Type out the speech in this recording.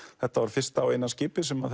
þetta var fyrsta og eina skip sem